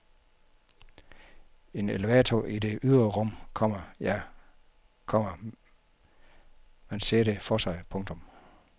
En elevator i det ydre rum, komma ja, komma man ser det for sig. punktum